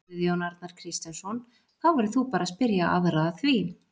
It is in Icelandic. Guðjón Arnar Kristjánsson: Þá verður þú bara spyrja aðra að því?